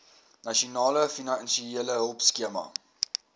nasionale finansiële hulpskema